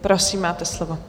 Prosím, máte slovo.